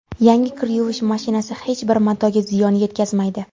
Yangi kir yuvish mashinasi hech bir matoga ziyon yetkazmaydi.